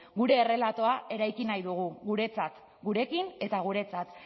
gure errelatoa eraiki nahi dugu guretzat gurekin eta guretzat